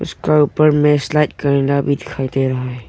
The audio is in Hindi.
इसका ऊपर में स्लाइड करना भी दिखाई दे रहा है।